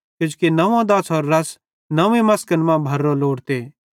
किजोकि नंव्वो दाछ़रो रस नव्वीं मसकन मां भरोरो लोड़ते